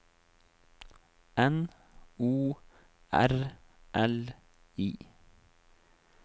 N O R L I